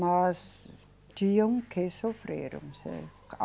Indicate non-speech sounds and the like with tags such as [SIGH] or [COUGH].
Mas tinham que sofrer. [UNINTELLIGIBLE]